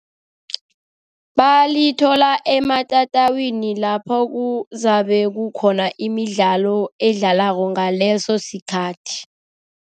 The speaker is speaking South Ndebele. Balithola ematatawini lapho kuzabe kukhona imidlalo edlalwako ngaleso sikhathi.